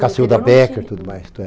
Cassilda Becker e tudo mais.